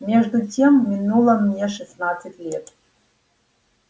между тем минуло мне шестнадцать лет